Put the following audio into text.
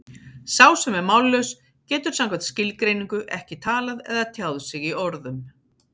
Sá sem er mállaus getur samkvæmt skilgreiningu ekki talað eða tjáð sig í orðum.